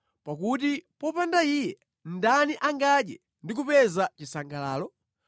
pakuti popanda Iye, ndani angadye ndi kupeza chisangalalo?